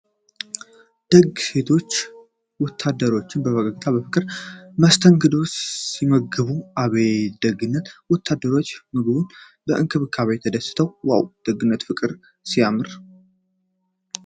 ደግ ሴቶች ወታደሮችን በፈገግታና በፍቅር መስተንግዶ ሲመግቡ አቤት ደግነት ። ወታደሮቹ በምግቡና በእንክብካቤው ተደስተዋል ። ዋው ! ደግነትና ፍቅር ሲያምር!